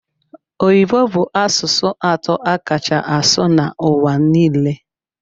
Oyibo bu asụsụ atọ akacha asụ na ụwa nile.